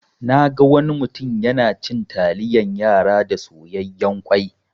Naga wani mutum yana cin taliyan yara da soyayyan kwai.